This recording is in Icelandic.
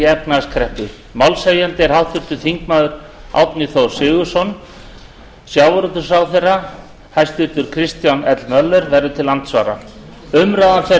efnahagskreppu málshefjandi er háttvirtur þingmaður árni þór sigurðsson hæstvirtur samgönguráðherra kristján l möller verður til andsvara umræðan fer